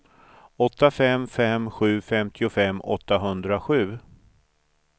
åtta fem fem sju femtiofem åttahundrasju